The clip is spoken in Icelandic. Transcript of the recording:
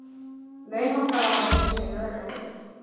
Launhálka var á veginum segir lögregla